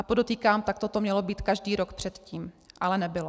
A podotýkám, takto to mělo být každý rok předtím, ale nebylo.